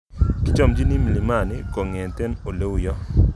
Kichomchini mlimani kongete oleuyo.